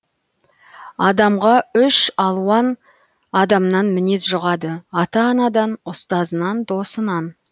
адамға үш алуан адамнан мінез жұғады ата анадан ұстазынан досынан